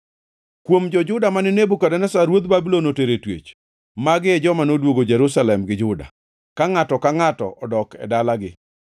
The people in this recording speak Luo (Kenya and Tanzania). Kuom jo-Juda mane Nebukadneza ruodh Babulon otero e twech, magi joma noduogo Jerusalem gi Juda, ka ngʼato ka ngʼato dok e dalagi.